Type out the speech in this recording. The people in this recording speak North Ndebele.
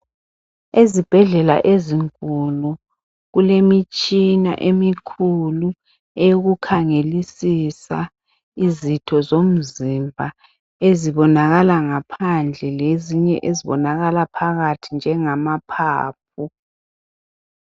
Ezibhedlela ezinkulu, kulemitshina emikhulu eyokukhangelisisa izitho zomzimba ezibonakala ngaphandle lezinye ezibonakala phakathi njengamaphaphu.